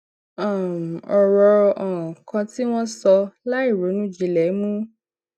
um òrò um kan tí wón sọ láìronú jinlè mú